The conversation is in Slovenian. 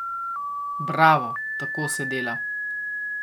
Bravo, tako se dela.